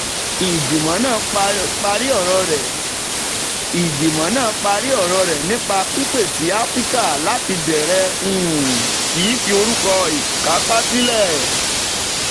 ìgbìmọ̀ náà parí ọ̀rọ̀ rẹ̀ nípa pípè sí áfíríkà láti bẹ̀rẹ̀ um sí fi orúkọ ìkápá sílẹ̀.